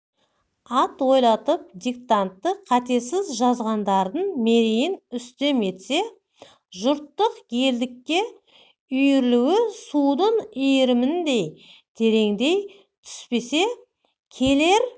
атойлатып диктантты қатесіз жазғандардың мерейін үстем етсе жұрттық елдікке үйірілуі судың иіріміндей тереңдей түспесе келер